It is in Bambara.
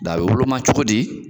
Da bɛ woloma cogo di?